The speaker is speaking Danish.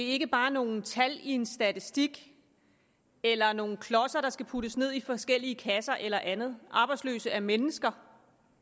ikke bare nogle tal i en statistik eller nogle klodser der skal puttes ned i forskellige kasser eller andet arbejdsløse er mennesker